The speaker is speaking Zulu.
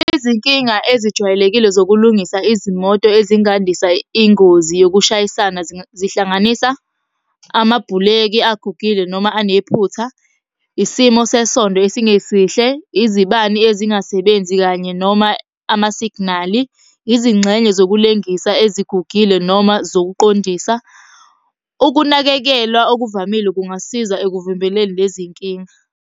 Izinkinga ezijwayelekile zokulungisa izimoto ezingandisa ingozi yokushayisana, zihlanganisa amabhuleki agugile noma anephutha. Isimo sesondo esingesihle, izibani ezingasebenzi kanye noma amasiginali. Izingxenye zokulengisa ezigugile noma zokuqondisa. Ukunakekelwa okuvamile kungasiza ekuvimbeleni lezi nkinga.